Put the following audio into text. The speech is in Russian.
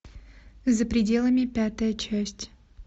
за пределами пятая часть